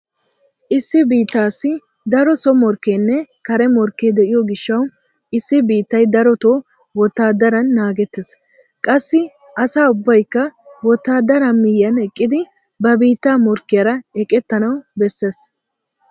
Issi biittaassi daro so morkkeenne kare morkke de'iyo gishshawu issi biittay daroto wotaaddaran naagettees. Qassi asa ubbayikka wotaaddaraa miyyiyan eqqidi ba biittaa morkkiyara eqettanawu bessees.